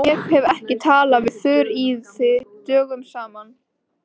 Ég hef ekki talað við Þuríði dögum saman.